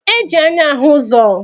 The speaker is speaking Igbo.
E ji anya ahụ ụzọ.